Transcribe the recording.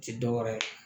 Ti dɔwɛrɛ ye